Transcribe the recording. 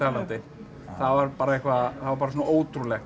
var bara eitthvað það var bara svona ótrúlegt